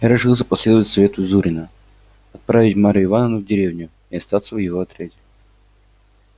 я решился последовать совету зурина отправить марью ивановну в деревню и остаться в его отряде